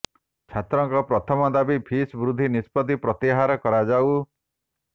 ଛାତ୍ରଙ୍କ ପ୍ରଥମ ଦାବି ଫିସ୍ ବୃଦ୍ଧି ନିଷ୍ପତ୍ତି ପ୍ରତ୍ୟାହାର କରାଯାଉ